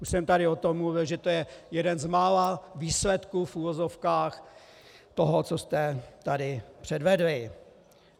Už jsem tady o tom mluvil, že to je jeden z mála výsledků, v uvozovkách, toho, co jste tady předvedli.